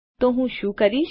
તો હું શું કરીશ